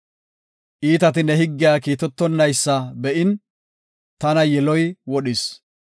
Iitati ne higgiya kiitetonaysa be7in, tana yiloy wodhis.